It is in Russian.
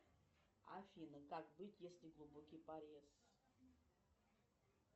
афина как быть если глубокий порез